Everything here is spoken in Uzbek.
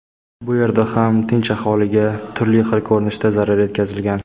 Bu yerda ham tinch aholiga turli xil ko‘rinishda zarar yetkazilgan.